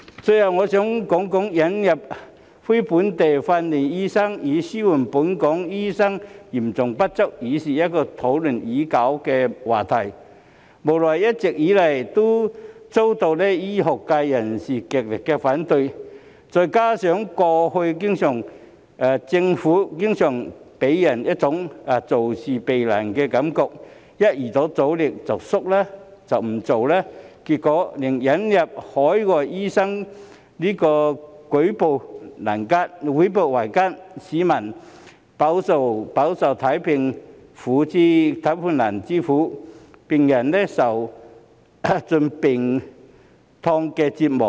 最後，我想說說，引入非本地訓練的醫生以紓緩本港醫生嚴重不足，是一個討論已久的話題，無奈一直以來都遭到醫學界人士極力反對，再加上政府過去經常給人一種做事避難的感覺，一遇到阻力便退縮不做，結果令引入海外醫生舉步維艱，市民飽受看病難之苦，病人受盡病痛折磨。